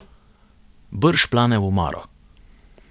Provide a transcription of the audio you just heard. Brž plane v omaro.